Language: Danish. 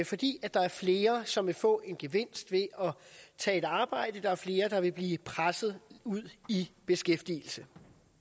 fordi der er flere som vil få en gevinst ved at tage et arbejde og fordi flere vil blive presset ud i beskæftigelse